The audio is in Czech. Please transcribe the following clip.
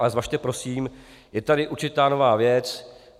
Ale zvažte prosím, je tady určitá nová věc.